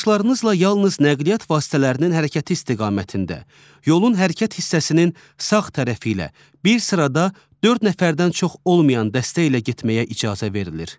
Yoldaşlarınızla yalnız nəqliyyat vasitələrinin hərəkəti istiqamətində, yolun hərəkət hissəsinin sağ tərəfi ilə, bir sırada dörd nəfərdən çox olmayan dəstə ilə getməyə icazə verilir.